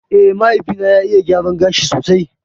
Eh, mahaifi na ya iya gyaran gashi sosai